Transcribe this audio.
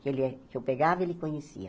Ele é que eu pegava, ele conhecia.